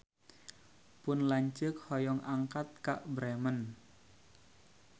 Pun lanceuk hoyong angkat ka Bremen